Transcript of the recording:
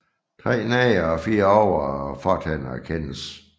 Tre nedre og fire øvre fortænder kendes